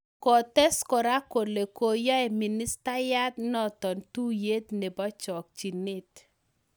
Kotes kora kole koyai ministaiyat notok tuiyet nebo chakchinet.